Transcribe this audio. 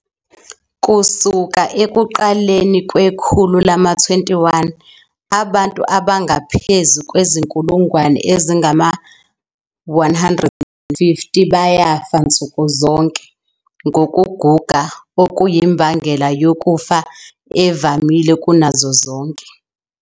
Kusuka ekuqaleni kwekhulu lama-21, abantu abangaphezu kwezinkulungwane ezingama-150 bayafa nsuku zonke, ngokuguga okuyimbangela yokufa evamile kunazo zonke.